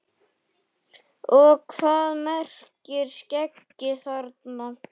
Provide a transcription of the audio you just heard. Og hvað merkir skeggi þarna?